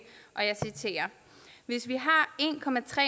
hvis vi har